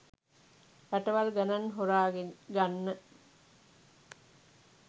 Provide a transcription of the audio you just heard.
රටවල් ගණන් හොරාගන්න